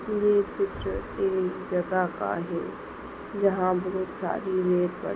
ये चित्र एक जगह का है। जहा बहोत सारी रेत पड़ी--